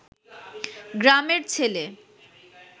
গ্রামের ছেলে